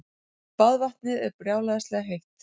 Baðvatnið er brjálæðislega heitt.